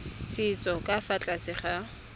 setso ka fa tlase ga